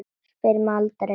Spyr mig aldrei.